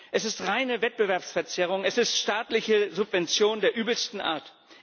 Es ist reine Wettbewerbsverzerrung, es ist staatliche Subvention der übelsten Art.